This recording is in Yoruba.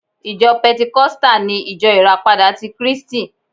Ìjọ pẹntikọ́stà ni Ìjọ Ìràpadà ti kríístì